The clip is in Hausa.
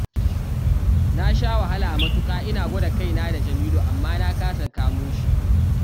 Na sha wahala matuƙa ina gwada kaina da Jamilu amma na kasa kamo shi